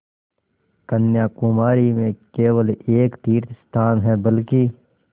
कन्याकुमारी में केवल एक तीर्थस्थान है बल्कि